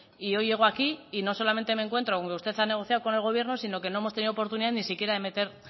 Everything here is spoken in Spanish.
y hoy llego aquí y no solamente me encuentro con que usted ha negociado con el gobierno sino que no hemos tenido oportunidad ni siquiera de meter